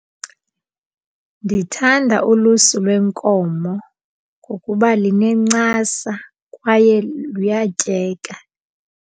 Ndithanda ulusu lwenkomo ngokuba linencasa kwaye luyatyeka.